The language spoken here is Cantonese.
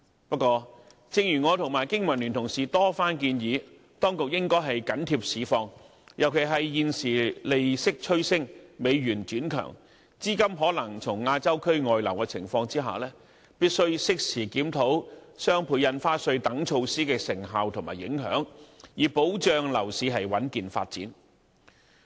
不過，正如我和經民聯同事多番建議，當局應緊貼市況，尤其是在現時利息趨升、美元轉強、資金可能從亞洲區外流的情況下，必須適時檢討雙倍印花稅等措施的成效和影響，以保障樓市穩健發展。